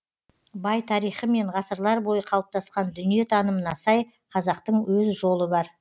бай тарихы мен ғасырлар бойы қалыптасқан дүниетанымына сай қазақтың өз жолы бар